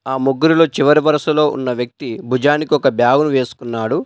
ఆ ముగ్గురిలో చివరి వరుసలో ఉన్న వ్యక్తి భుజానికి ఒక బ్యాగును వేసుకున్నాడు.